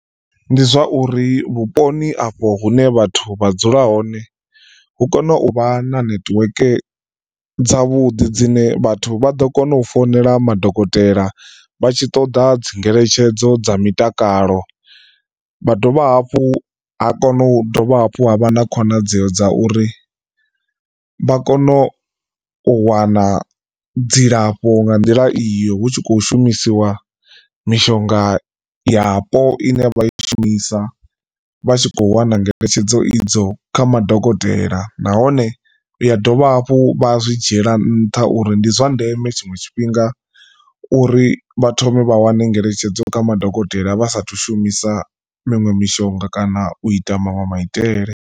Ndi zwa uri vhuponi afho hune vhathu vha dzula hone hu kone u vha na netiweke dza vhuḓi dzine vhathu vha ḓo kona u founela madokotela vhatshi ṱoḓa dzingeletshedzo dza mitakalo. Vha dovha hafhu ha kona u dovha hafhu ha vha na khonadzeo dza uri vha kone u wana dzilafho nga nḓila iyo hu tshi kho shumisiwa mishonga yapo ine vha i shumisa vhatshi kho wana ngeletshedzo idzo kha madokotela, nahone ya dovha hafhu vha zwi dzhiela nṱha uri ndi zwa ndeme tshiṅwe tshifhinga uri vha thome vha wane ngeletshedzo kha madokotela vha sathu shumisa miṅwe mishonga kana u ita maṅwe maitele.